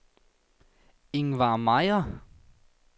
Ingvard Mejer